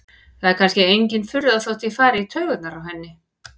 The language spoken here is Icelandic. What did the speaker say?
Það er kannski engin furða þótt ég fari í taugarnar á henni.